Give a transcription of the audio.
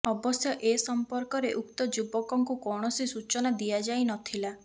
ଅବଶ୍ୟ ଏ ସମ୍ପର୍କରେ ଉକ୍ତ ଯୁବକଙ୍କୁ କୌଣସି ସୂଚନା ଦିଆଯାଇ ନଥିଲା